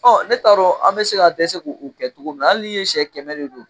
Ɔ ne t'a dɔn an bɛ se ka dɛsɛ ko o kɛ cogo min na hali n'i ye sɛ kɛmɛ de don